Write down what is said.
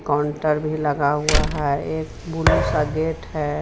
Counter भी लगा हुआ है एक बुलू सा गेट है.